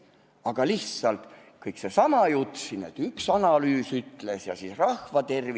Eks seal oli lihtsalt seesama jutt, et üks analüüs ütles, et rahva tervise huvid nõuavad seda.